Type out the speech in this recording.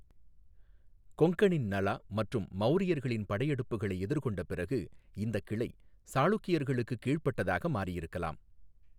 கொங்கனின் நலா மற்றும் மௌரியர்களின் படையெடுப்புகளை எதிர்கொண்ட பிறகு இந்தக் கிளை சாளுக்கியர்களுக்கு கீழ்ப்பட்டதாக மாறியிருக்கலாம்.